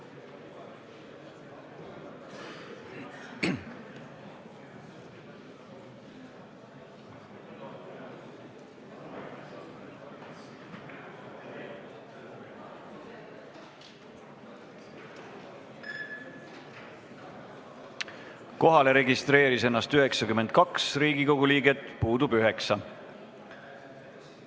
Kohaloleku kontroll Kohalolijaks registreeris ennast 92 Riigikogu liiget, puudub 9 liiget.